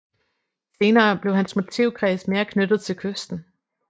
Senere blev hans motivkreds mere knyttet til kysten